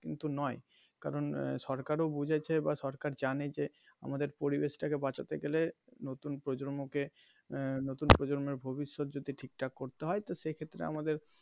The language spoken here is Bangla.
কিন্তু নয় কারণ সরকারও বুঝেছে বা সরকার জানে যে পরিবেশ টাকে বাঁচাতে গেলে নতুন প্রজন্ম কে নতুন প্রজন্মের ভবিয্যত যদি ঠিক ঠাক করতে হয় তো সেক্ষেত্রে আমাদের.